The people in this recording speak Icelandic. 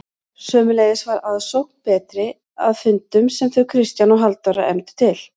Sömuleiðis var aðsókn betri að fundum sem þau Kristján og Halldóra efndu til.